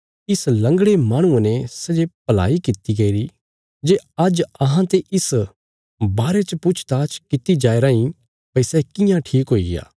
इस लंगड़े माहणुये ने सै जे भलाई किति गईरी जे आज्ज अहांते इस बारे च पूछताछ किति जाया राईं भई सै कियां ठीक हुईग्या